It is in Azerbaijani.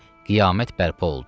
Qiyamət bərpa oldu.